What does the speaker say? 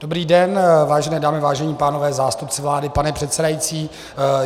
Dobrý den, vážené dámy, vážení pánové, zástupci vlády, pane předsedající.